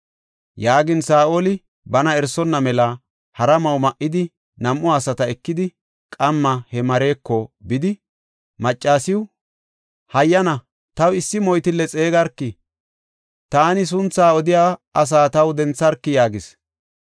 Yaagin Saa7oli bana erisonna mela hara ma7o ma7idi, nam7u asata ekidi, qamma he mareeko bidi, maccasiw, “Hayyana, taw issi moytille xeegarki; taani suntha odiya asa taw dentharki” yaagis.